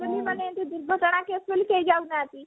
ମାନେ ଏମିତି ଦୁର୍ଘଟଣା କଲେ କେହି ଯାଉ ନାହାନ୍ତି